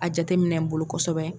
A jateminɛ n bolo kosɛbɛ